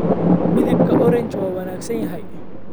Midabka Orange waa wanaagsan yahay.